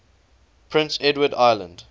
prince edward island